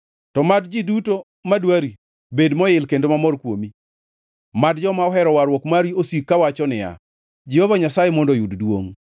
To mad ji duto madwari bed moil kendo mamor kuomi; mad joma ohero warruok mari osik kawacho niya, “Jehova Nyasaye mondo oyud duongʼ!”